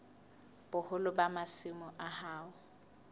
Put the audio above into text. boholo ba masimo a hao